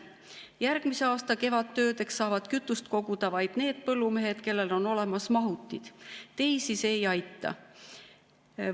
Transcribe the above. Järgmise aasta kevadtöödeks saavad kütust koguda vaid need põllumehed, kellel on olemas mahutid, teisi see ei aita.